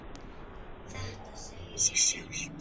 Þetta segir sig sjálft.